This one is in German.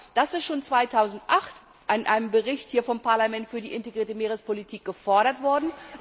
Das ist schon 2008 in einem Bericht unseres Parlaments über die integrierte Meerespolitik gefordert worden.